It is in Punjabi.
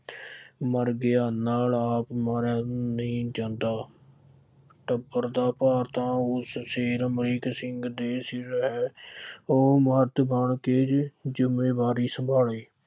ਮਰ ਗਿਆ ਨਾਲ ਆਪ ਮਰਿਆ ਨਹੀਂ ਜਾਂਦਾ। ਟੱਬਰ ਦਾ ਭਾਰ ਤਾਂ ਉਸ ਸਿਰ ਅਮਰੀਕ ਸਿੰਘ ਦੇ ਸਿਰ ਹੈ। ਉਹ ਪੱਗ ਬੰਨ੍ਹ ਕੇ ਜ਼ਿੰਮੇਵਾਰੀ ਸੰਭਾਲੇ।